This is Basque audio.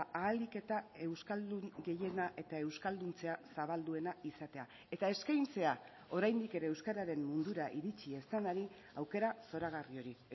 ahalik eta euskaldun gehiena eta euskalduntzea zabalduena izatea eta eskaintzea oraindik ere euskararen mundura iritsi ez denari aukera zoragarri hori